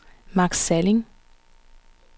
Max Salling